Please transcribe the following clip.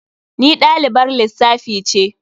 Ni dalibar lissafi ce.